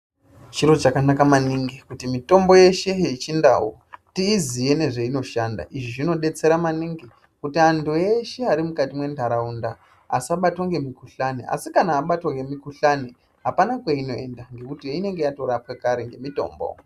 Chiro chakanaka maningi kuti mitombo yeshe yechindau tiyiziye nezveinoshanda. Izvi zvinodetsera maningi kuti antu eshe ari muntaraunda asabatwe nemikhuhlane. Asi kana muntu abatwa nemikhuhlane apana kweinoenda ngekuti inenge yatorapwe kare nemitombo.